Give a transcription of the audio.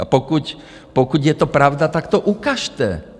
A pokud je to pravda, tak to ukažte.